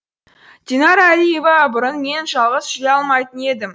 динара әлиева бұрын мен жалғыз жүре алмайтын едім